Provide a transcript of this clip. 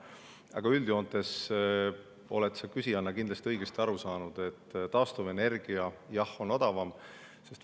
Aga üldjoontes oled sa küsijana kindlasti õigesti aru saanud, et taastuvenergia, jah, on odavam.